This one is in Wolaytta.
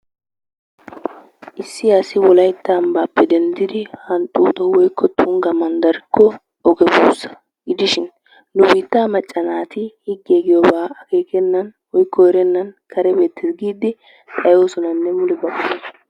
Issi asi wolaytta ambbaappe denddidi hanxxuuxo woykko Tungga manddarikko oge buussa gidishin nu biittaa macca naati higgee giyobaa akeekennan woykko erennan kare beettees giiddi xayoosonanne mule ba,,,